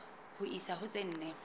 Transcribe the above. ho isa ho tse nne